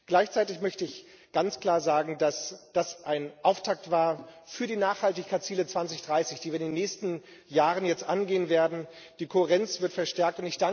Gleichzeitig möchte ich ganz klar sagen, dass das ein Auftakt war für die Nachhaltigkeitsziele 2030, die wir den nächsten Jahren jetzt angehen werden die Kohärenz wird verstärkt.